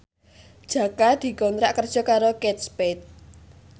Jaka dikontrak kerja karo Kate Spade